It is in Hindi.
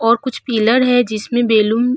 और कुछ पिलर है जिसमें बैलून --